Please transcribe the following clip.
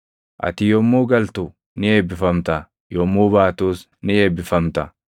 Ati yommuu galtu ni eebbifamta; yommuu baatus ni eebbifamta.